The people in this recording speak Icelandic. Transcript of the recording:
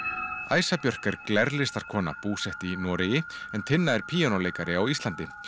æsa Björk er búsett í Noregi en Tinna er píanóleikari á Íslandi